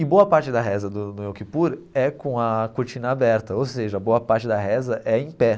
E boa parte da reza do do Yom Kippur é com a cortina aberta, ou seja, boa parte da reza é em pé.